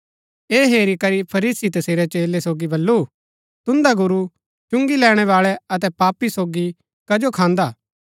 ऐह हेरी करी फरीसी तसेरै चेलै सोगी बल्लू तुन्दा गुरू चुंगी लैणैबाळै अतै पापी सोगी कजो खान्दा